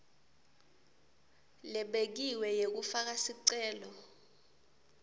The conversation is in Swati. lebekiwe yekufaka sicelo